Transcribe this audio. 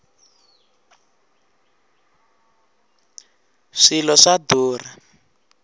swilo swa durha